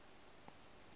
o re ba be le